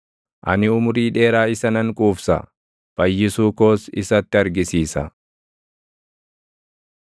Ani umurii dheeraa isa nan quufsa; fayyisuu koos isatti argisiisa.”